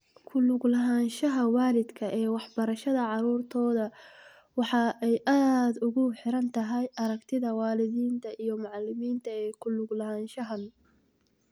Ku lug lahaanshaha waalidka ee waxbarashada caruurtooda waxa ay aad ugu xirantahay aragtida waalidiinta iyo macalimiinta ee ku lug lahaanshahaan.